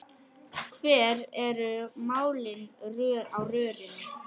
Hver eru málin á rörinu?